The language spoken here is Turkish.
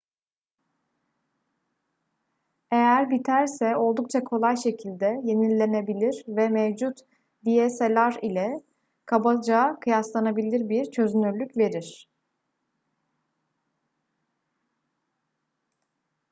eğer biterse oldukça kolay şekilde yenilenebilir ve mevcut dslr ile kabaca kıyaslanabilir bir çözünürlük verir